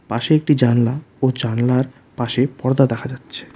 পাশে একটি জানলা ও জানলার পাশে পর্দা দেখা যাচ্ছে।